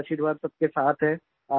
आपका आशीर्वाद सबके साथ है